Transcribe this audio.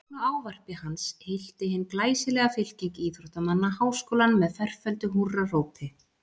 Að loknu ávarpi hans hylti hin glæsilega fylking íþróttamanna Háskólann með ferföldu húrrahrópi.